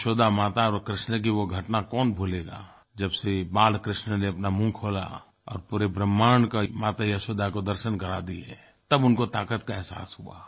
यशोदा माता और कृष्ण की वो घटना कौन भूलेगा जब श्री बालकृष्ण ने अपना मुँह खोला और पूरे ब्रह्माण्ड का माता यशोदा को दर्शन करा दिये तब उनको ताक़त का अहसास हुआ